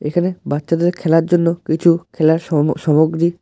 এখানে বাচ্চাদের খেলার জন্য কিছু খেলার সম সমগ্রী --